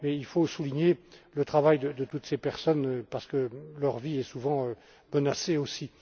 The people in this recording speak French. là. Mais il faut souligner le travail de toutes ces personnes parce que leur vie est souvent menacée aussi.